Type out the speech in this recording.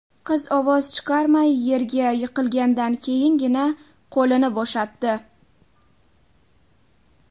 Qiz ovoz chiqarmay, yerga yiqilgandan keyingina, qo‘lini bo‘shatdi.